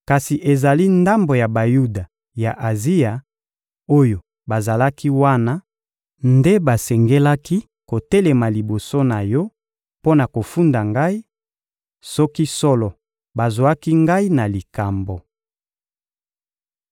Kasi ezali ndambo ya Bayuda ya Azia, oyo bazalaki wana, nde basengelaki kotelema liboso na yo mpo na kofunda ngai, soki solo bazwaki ngai na likambo.